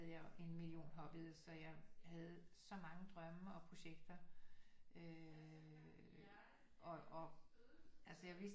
Jeg en million hobbies så jeg havde så mange drømme og projekter øh og altså jeg vidste